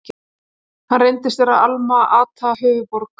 Hann reyndist vera Alma-Ata, höfuðborg